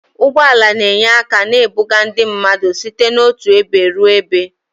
Ụgbọ ala na-enye aka na-ebuga ndị mmadụ site n'otu ebe ruo ebe